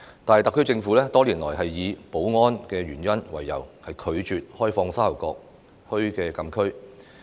但是，特區政府多年來以保安原因為由，拒絕開放沙頭角墟禁區。